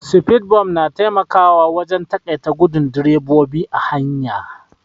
Sfidbumf na taimakawa wajen taƙaita gudun drebobi a hanya.